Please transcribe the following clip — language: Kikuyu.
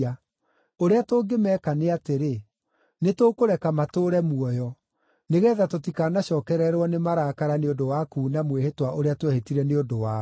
Ũrĩa tũngĩmeeka nĩ atĩrĩ: Nĩ tũkũreka matũũre muoyo, nĩgeetha tũtikanacookererwo nĩ marakara nĩ ũndũ wa kuuna mwĩhĩtwa ũrĩa twehĩtire nĩ ũndũ wao.”